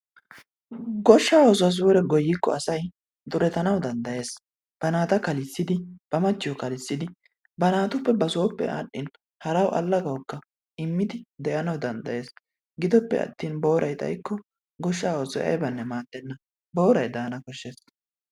goshsha oosuwa suure goyyikko asaa durettanaw danddayees. ba naata kallissidi, ba machchiyo kallisidi ba naatuppe ba sooppe aadhdhin haraw allaagawukka immidi de'anaw danddayees. giddoppe attin booray xaykko goshsha oosoy aybanne maadena, booray daana koshshees.